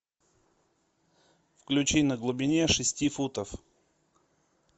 включи на глубине шести футов